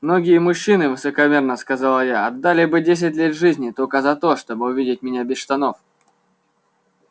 многие мужчины высокомерно сказала я отдали бы десять лет жизни только за то чтобы увидеть меня без штанов